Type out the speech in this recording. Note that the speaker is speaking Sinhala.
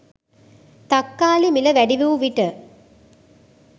තක්කාලි මිල වැඩිවූ විට